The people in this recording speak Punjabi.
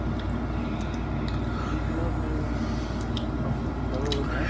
ਤੁਸੀਂ ਨਾਂ ਆਪਣੇ, ਆਪਣਾ ਲੀਲਾ ਭਵਨ ਹੈ.